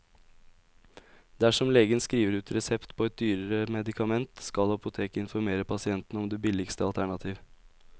Dersom legen skriver ut resept på et dyrere medikament, skal apoteket informere pasienten om det billigste alternativ.